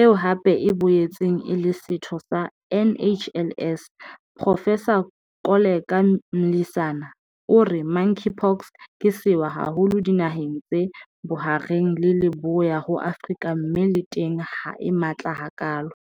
eo hape e boetseng e le setho sa NHLS, Profesara Koleka Mlisana, o re Monkeypox ke sewa haholo dinaheng tse Bohareng le Leboya ho Afrika mme le teng ha e matla hakalo.